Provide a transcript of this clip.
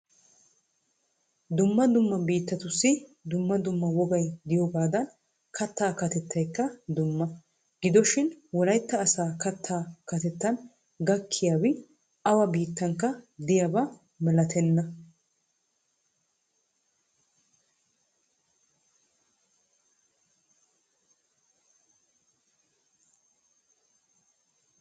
Dumma dumma biittatussi dumma dumma wogay diyogaadan kattaa kateytayikka dumma. Gidoshin wolayitta asaa kattaa kattaa gakkiyaabi awa biittankka diyaba malatenna.